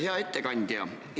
Hea ettekandja!